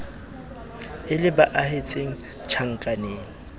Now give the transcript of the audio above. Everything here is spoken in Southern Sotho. e le ba ahetseng tjhankaneng